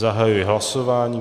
Zahajuji hlasování.